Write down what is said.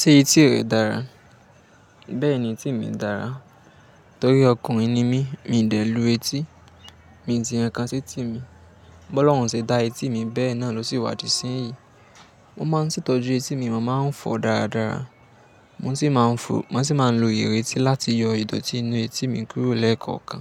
Ṣé etí rẹ dára? Bẹ́ẹ̀ni, etí mi dára. Torí ọkùnrin ni mí, mi n dẹ lu etí. Mi ti yan kán sí etí mi. Bọlọrun se dá etí mi bẹ́ẹ̀ náà ló sì wá di sí yìí. Mo máa ń setọju etí mi, mo máa ń fọ̀ ọ́ dáradára. Mo sì máa ń fò-- mo sì máa ń lo ireti láti yọ ìdọ̀tí inú etí mi kúrò lẹ́ẹ̀kọ̀kan.